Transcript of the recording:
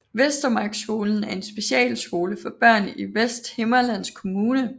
Vestermarkskolen er en specialskole for børn i Vesthimmerlands Kommune